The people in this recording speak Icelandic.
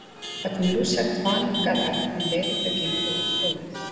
Það kom lúshægt vangalag um leið og þau gengu út á gólfið.